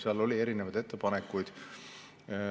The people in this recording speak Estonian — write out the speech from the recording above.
Seal oli erinevaid ettepanekuid.